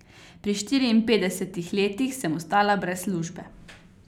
Pri štiriinpetdesetih letih sem ostala brez službe.